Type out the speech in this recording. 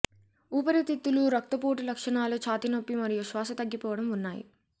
ఊపిరితిత్తుల రక్తపోటు లక్షణాలు ఛాతీ నొప్పి మరియు శ్వాస తగ్గిపోవడం ఉన్నాయి